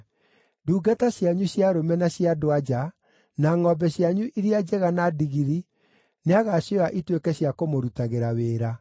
Ndungata cianyu cia arũme na cia andũ-a-nja, na ngʼombe cianyu iria njega na ndigiri nĩagacioya ituĩke cia kũmũrutagĩra wĩra.